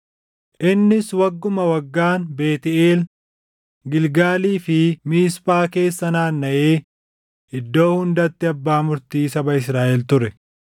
Innis wagguma waggaan Beetʼeel, Gilgaalii fi Miisphaa keessa naannaʼee iddoo hundatti abbaa murtii saba Israaʼel ture.